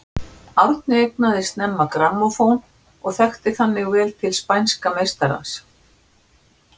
Árni eignaðist snemma grammófón og þekkti þannig vel til spænska meistarans.